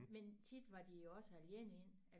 Men tit var de jo også alene inde